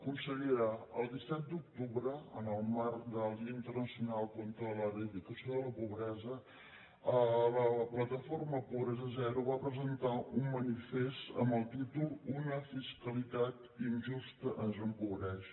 consellera el disset d’octubre en el marc del dia internacional per a l’eradicació de la pobresa la plataforma pobresa zero va presentar un manifest amb el títol una fiscalitat injusta ens empobreix